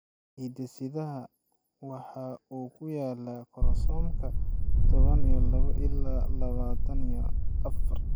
Hidde-sidaha waxa uu ku yaalaa koromosoomka toban iyo labo qla labatan iyo afar.